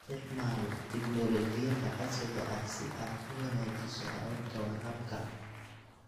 Isticmaal tignoolajiyada casriga ah si aad u wanaajiso hababka waraabka.